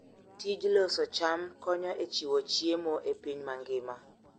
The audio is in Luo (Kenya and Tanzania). Tij loso cham konyo e chiwo chiemo e piny mangima.